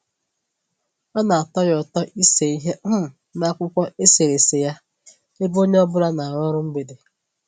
Ọ na-atọ ya ụtọ ịse ihe um n'akwụkwọ eserese ya ebe onye ọ bụla na-arụ ọrụ mgbede